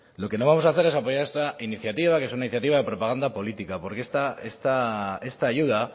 lo que no vamos a hacer es apoyar esta iniciativa que es una iniciativa de propagando política porque esta ayuda